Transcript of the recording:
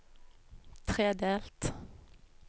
tredelt